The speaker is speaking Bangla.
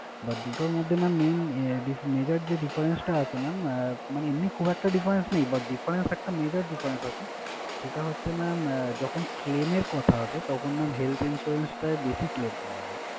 But দুটোর মধ্যে mam main আহ dif~ major যে difference টা আছে mam মানে এমনি খুব একটা difference নেই but difference একটা major difference আছে, সেটা হচ্ছে mam আহ যখন claim এর কথা আসে তখন mam health insurance টায় বেশি claim পাওয়া যায়।